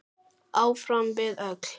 Áfram við öll.